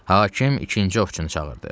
Hakim ikinci ovçunu çağırdı.